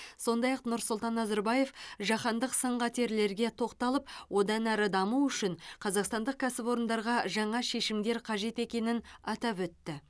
сондай ақ нұрсұлтан назарбаев жаһандық сын қатерлерге тоқталып одан әрі даму үшін қазақстандық кәсіпорындарға жаңа шешімдер қажет екенін атап өтті